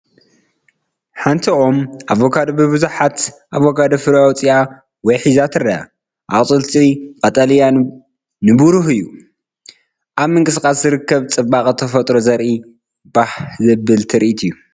ሓንቲ ኦም ኣቮካዶ ብብዙሓት ኣቮካዶ ፍረ ኣውፂኣ ወይ ሒዛ ትረአ። ኣቝጽልቱ ቀጠልያን ንብሩህን እዩ። ኣብ ምንቅስቓስ ዝርከብ ጽባቐ ተፈጥሮ ዘርኢ ባህ ዘብል ትርኢት እዩ።